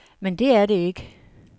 Men det er det ikke.